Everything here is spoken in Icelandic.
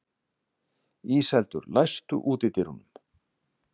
Íseldur, læstu útidyrunum.